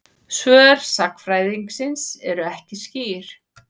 Svör sagnfræðingsins eru ekki skýr.